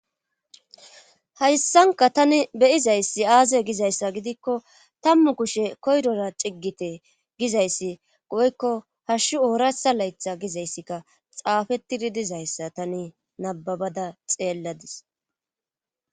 Hayssanka tani beyizayssi aaze gizayssa gidikko tammu kushe koyrora ciggite gizayssi goykko hashshu oorasa laytha gizayssikka xaafettidi dizayssa tani nababada xeelladis.